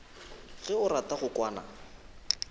ge o rata go kwana